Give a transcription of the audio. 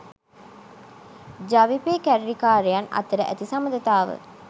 ජවිපෙ කැරලිකාරයන් අතර ඇති සබඳතාව